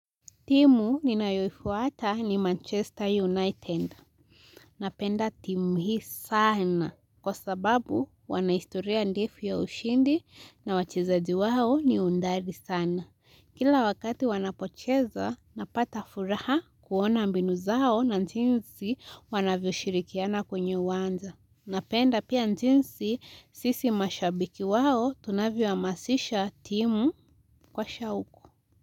Timu nina yoifuata ni Manchester United. Napenda timu hii sana. Kwa sababu, wanahistoria ndefu ya ushindi na wachezaji wao ni hodari sana. Kila wakati wanapocheza, napata furaha kuona mbinu zao na jinsi wanavyo shirikiana kwenye uwanza. Napenda pia jinsi sisi mashabiki wao tunavyo amasisha timu kwa shauku.